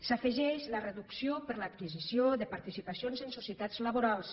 s’hi afegeix la reducció per l’adquisició de participacions en societats laborals